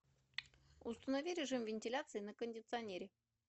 установи режим вентиляции на кондиционере